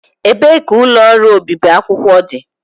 Ebee ka ụlọ ọrụ obibi akwụkwọ dị?